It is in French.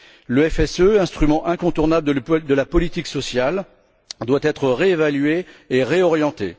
Le FSE, instrument incontournable de la politique sociale, doit être réévalué et réorienté.